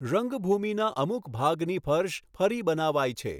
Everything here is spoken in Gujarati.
રંગભૂમિના અમુક ભગની ફર્શ ફરી બનાવાઈ છે.